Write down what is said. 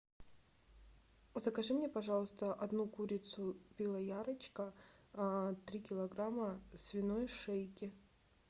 закажи мне пожалуйста одну курицу белоярочка три килограмма свиной шейки